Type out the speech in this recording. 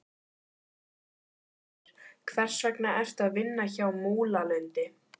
Karen Kjartansdóttir: Hvers vegna ertu að vinna hjá Múlalundi?